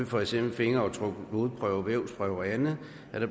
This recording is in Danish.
for eksempel fingeraftryk blodprøver vævsprøver og andet